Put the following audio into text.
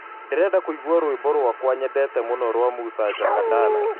ndĩrenda kũĩgwa rwĩmbo rwakwa nyendete mũno rwa musa jakadala